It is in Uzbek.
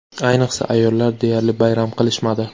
Ayniqsa ayollar deyarli bayram qilishmadi.